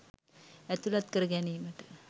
ඇතුළත් කර ගැනීමට